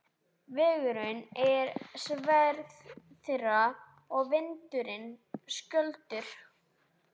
Vegurinn er sverð þeirra og vindurinn skjöldur.